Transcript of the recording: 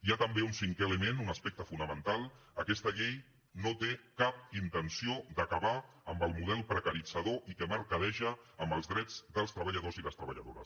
hi ha també un cinquè element un aspecte fonamental aquesta llei no té cap intenció d’acabar amb el model precaritzador i que mercadeja amb els drets dels treballadors i les treballadores